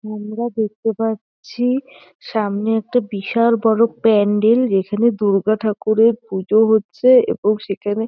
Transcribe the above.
আমরা দেখতে পাচ্ছি সামনে একটা বিশাল বড় প্যান্ডেল । যেখানে দুর্গা ঠাকুরের পুজো হচ্ছে এবং সেখানে --